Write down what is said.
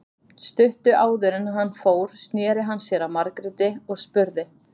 Stuttu áður en hann fór sneri hann sér að Margréti og spurði